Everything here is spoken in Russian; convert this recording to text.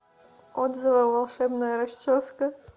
отзывы волшебная расческа